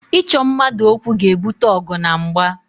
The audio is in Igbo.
Ịchọ mmadụ okwu ga-ebute ọgụ na mgba